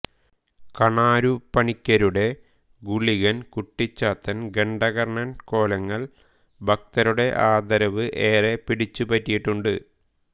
കണാരുപണിക്കരുടെ ഗുളികൻ കുട്ടിച്ചാത്തൻ ഘണ്ഠാകർണൻ കോലങ്ങൾ ഭക്തരുടെ ആദരവ് ഏറെ പിടിച്ചുപറ്റിയിട്ടുണ്ട്